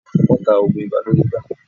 Wọ́n ta oògùn ibà lórí igbá.